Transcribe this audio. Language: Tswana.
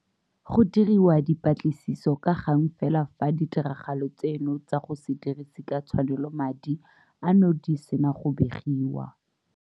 Go diriwa dipatlisiso ka gang fela fa ditiragalo tseno tsa go se dirise ka tshwanelo madi ano di sena go begiwa.